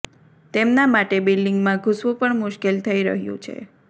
તેમના માટે બ્લિડીંગમાં ઘુસવુ પણ મુશ્કેલ થઈ રહ્યું છે